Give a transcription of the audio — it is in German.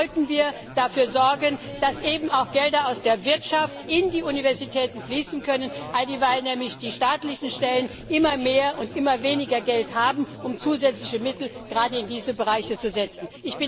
Insofern sollten wir dafür sorgen, dass eben auch Gelder aus der Wirtschaft in die Universitäten fließen können, alldieweil nämlich die staatlichen Stellen zunehmend weniger Geld haben, um zusätzliche Mittel, gerade in diesen Bereichen zur Verfügung zu stellen.